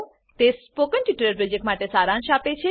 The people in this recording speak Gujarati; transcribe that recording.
તે સ્પોકન ટ્યુટોરીયલ પ્રોજેક્ટનો સારાંશ આપે છે